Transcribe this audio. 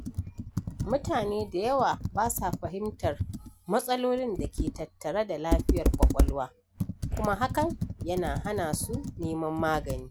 Mutane da yawa ba sa fahimtar matsalolin da ke tattare da lafiyar ƙwaƙwalwa, kuma hakan yana hana su neman magani.